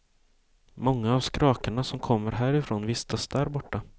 Många av skrakarna som kommer härifrån vistas därborta.